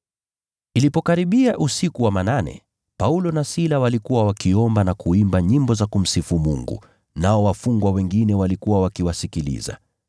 Ilipokaribia usiku wa manane, Paulo na Sila walikuwa wakiomba na kuimba nyimbo za kumsifu Mungu, nao wafungwa wengine walikuwa wakiwasikiliza.